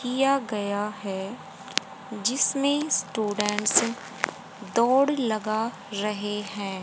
किया गया है जिसमें स्टूडेंट्स दौड़ लगा रहे हैं।